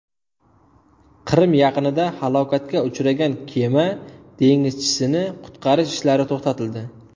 Qrim yaqinida halokatga uchragan kema dengizchisini qutqarish ishlari to‘xtatildi.